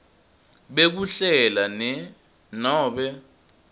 bekuhlela ne nobe